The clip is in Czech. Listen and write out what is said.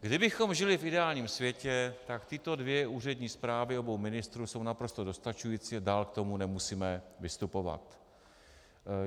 Kdybychom žili v ideálním světě, tak tyto dvě úřední zprávy obou ministrů jsou naprosto dostačující a dál k tomu nemusíme vystupovat.